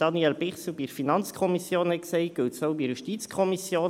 Was Daniel Bichsel zur FiKo gesagt hat, gilt auch für die JuKo.